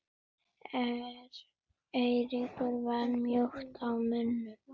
Eiríkur var mjótt á munum?